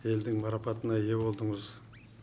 елдің марапатына ие болдыңыз